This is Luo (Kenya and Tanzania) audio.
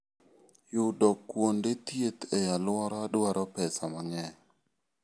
Yudo kuonde thieth e alworawa dwaro pesa mang'eny.